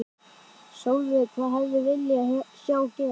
Sólveig: Hvað hefði viljað sjá gerast?